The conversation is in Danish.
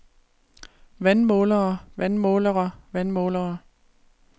vandmålere vandmålere vandmålere